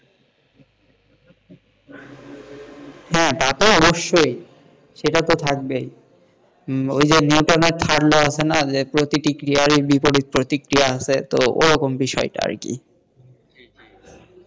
হ্যাঁ তা তো অবশ্যই সেটা তো থাকবেইওই যে নিউটনের third law আছে না যে প্রত্যেকটি ক্রিয়ার বিপরীত প্রতিক্রিয়া আছেতো ওরকম বিষয়টা র কি?